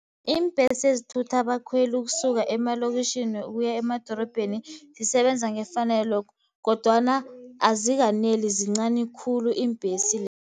Iimbhesi ezithutha abakhweli ukusuka emalokitjhini, ukuya emadorobheni zisebenza ngefanelo, kodwana azikaneli zincani khulu iimbhesi.